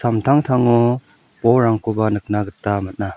samtangtango bolrangkoba nikna gita man·a.